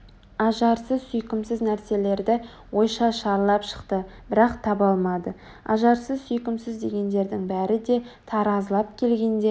ажарсыз сүйкімсіз нәрселерді ойша шарлап шықты бірақ таба алмады ажарсыз сүйкімсіз дегендердің бәрі де таразылап келгенде